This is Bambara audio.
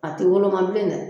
A tɛ woloma bilen dɛ